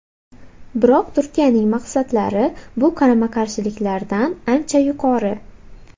Biroq Turkiyaning maqsadlari bu qarama-qarshiliklardan ancha yuqori.